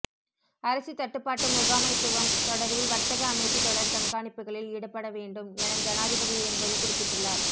அரிசி தட்டுப்பாட்டு முகாமைத்துவம் தொடர்பில் வர்த்தக அமைச்சு தொடர் கண்காணிப்புகளில் ஈடுபட வேண்டும் என ஜனாதிபதி இதன்போது குறிப்பிட்டுள்ளார்